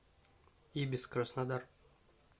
ибис краснодар